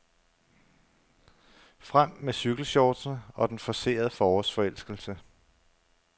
Frem med cykelshortsene og den forcerede forårsforelskelse.